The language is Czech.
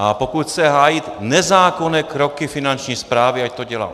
A pokud chce hájit nezákonné kroky Finanční správy, ať to dělá.